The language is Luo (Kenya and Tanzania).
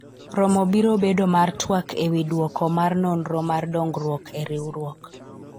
romo biro bedo mar twak ewi dwoko mar nonro mar dongruok e riwruok